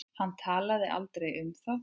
Hann talaði aldrei um það.